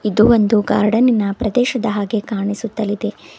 ಇದು ಒಂದು ಗಾರ್ಡನ್ನಿನ ಪ್ರದೇಶದ ಹಾಗೆ ಕಾಣಿಸುತ್ತಾ ಇದೆ.